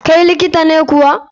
kai likita ne kuwa?